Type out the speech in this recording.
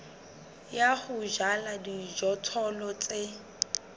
ya ho jala dijothollo tse